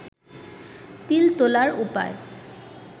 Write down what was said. তিল তোলার উপায়